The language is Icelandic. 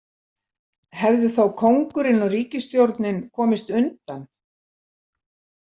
Hefðu þá kóngurinn og ríkisstjórnin komist undan?